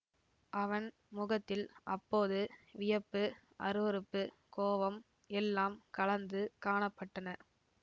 அவன் முகத்தில் அப்போது வியப்பு அருவருப்பு கோபம் எல்லாம் கலந்து காண பட்டன